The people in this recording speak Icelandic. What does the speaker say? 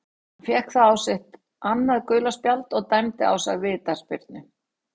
Hann fékk þá sitt annað gula spjald og dæmda á sig vítaspyrnu.